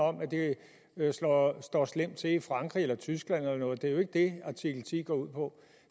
om at det står slemt til i frankrig eller i tyskland eller noget lignende det er jo ikke det artikel ti går ud på